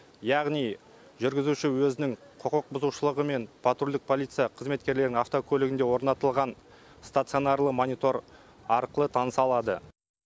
яғни жүргізуші өзінің құқық бұзушылығымен патрульдік полиция қызметкерлерінің автокөлігінде орнатылған стационарлы монитор арқылы таныса алады